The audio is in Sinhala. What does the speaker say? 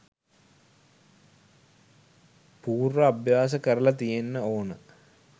පූර්ව අභ්‍යාස කරලා තියෙන්න ඕන.